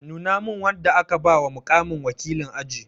Nuna min wanda aka ba wa muƙamin wakilin aji!